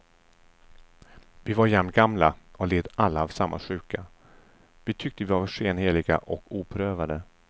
Vi var jämngamla och led alla av samma sjuka, vi tyckte att vi var skenheliga och oprövade.